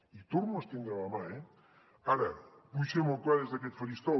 i torno a estendre la mà eh ara vull ser molt clar des d’aquest faristol